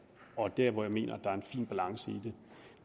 og der hvor jeg mener at er en fin balance i